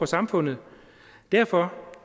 samfundet derfor